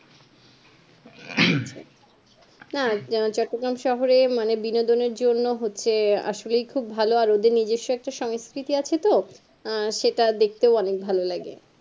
না না চুট্টগ্রমে শহরে মানে বিনোদনের জন্য হচ্ছে আসলেই খুব ভালো আর ওদের নিজস্ব একটা সংস্কৃতি আছে তো আহ সেটাও দেখতে অনেক ভালো লাগে